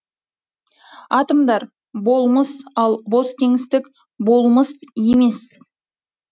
атомдар болмыс ал бос кеңістік болмыс емес